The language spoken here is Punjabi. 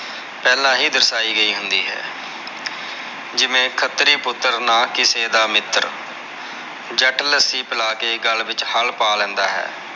ਪਹਿਲਾ ਹੀ ਦਰਸ਼ਾਯੀ ਗਯੀ ਹੁੰਦੀ ਹੈ ਜਿਵੇਂ ਖਤ੍ਰੀ ਪੁੱਤਰ ਨਾ ਕਿਸੇ ਦਾ ਮਿੱਤਰ ਜੱਟ ਲੱਸੀ ਪਿਲਾ ਕੇ ਗੱਲ ਵਿਚ ਹਲ ਪਾ ਲੈਂਦਾ ਹੈ।